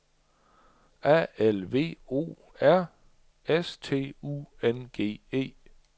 A L V O R S T U N G E